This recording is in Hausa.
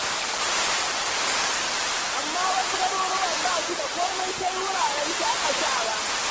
Amma wasu garuruwan ba su da komai sai wuraren shaƙatawa.